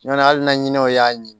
Ɲɔn hal na ɲinɔ y'a ɲi